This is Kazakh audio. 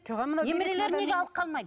немерелерін неге алып қалмайды